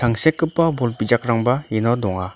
tangsekgipa bol bijakrangba ino donga.